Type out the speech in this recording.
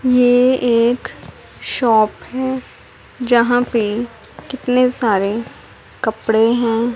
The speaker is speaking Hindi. ये एक शॉप है जहां पे कितने सारे कपड़े हैं।